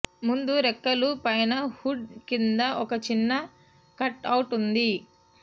ముందు రెక్కలు పైన హుడ్ కింద ఒక చిన్న కట్అవుట్ ఉంది